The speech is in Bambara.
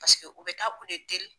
Paseke u bɛ taa u le deli.